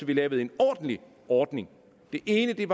vi lavede en ordentlig ordning det ene er